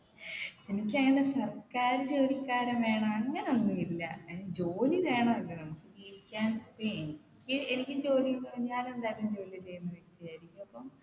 എനിക്കങ്ങനെ സർക്കാർ ജോലിക്കാരൻ വേണം അങ്ങനെ ഒന്നുമില്ല ഏർ ജോലി വേണമല്ലോ നമ്മുക്ക് ജീവിക്കാൻ ഇപ്പൊ എനിക്ക് എനിക്ക് ജോലി ഞാൻ എന്തായാലും ജോലി ചെയ്യുന്ന വ്യക്തിയായിരിക്കും അപ്പം